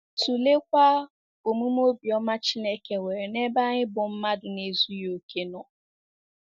Tụleekwa omume obiọma Chineke nwere n’ebe anyị bụ́ mmadụ na-ezughị okè nọ.